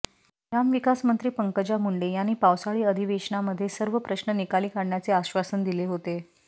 ग्रामविकासमंत्री पंकजा मुंडे यांनी पावसाळी अधिवेशनामध्ये सर्व प्रश्न निकाली काढण्याचे आश्वासन दिले होते